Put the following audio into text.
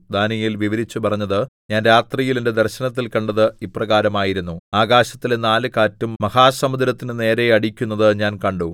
ദാനീയേൽ വിവരിച്ചു പറഞ്ഞത് ഞാൻ രാത്രിയിൽ എന്റെ ദർശനത്തിൽ കണ്ടത് ഇപ്രകാരം ആയിരുന്നു ആകാശത്തിലെ നാല് കാറ്റും മഹാസമുദ്രത്തിന്റെ നേരെ അടിക്കുന്നത് ഞാൻ കണ്ടു